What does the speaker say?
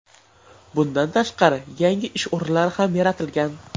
Bundan tashqari, yangi ish o‘rinlari ham yaratilgan.